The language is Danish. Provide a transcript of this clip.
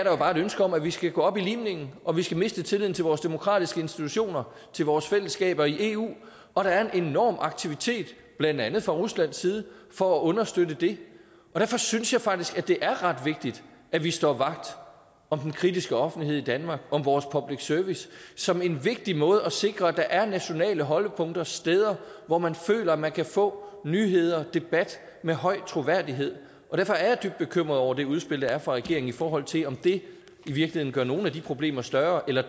jo bare et ønske om at vi skal gå op i limningen og at vi skal miste tilliden til vores demokratiske institutioner til vores fællesskab i eu og der er en enorm aktivitet blandt andet fra ruslands side for at understøtte det og derfor synes jeg faktisk det er ret vigtigt at vi står vagt om den kritiske offentlighed i danmark om vores public service som en vigtig måde at sikre at der er nationale holdepunkter steder hvor man føler man kan få nyheder debat af høj troværdighed derfor er jeg dybt bekymret over det udspil der er fra regeringen i forhold til om det i virkeligheden gør nogle af de problemer større eller